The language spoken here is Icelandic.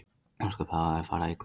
Ósköp hafa þau farið illa með þig.